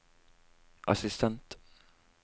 assistent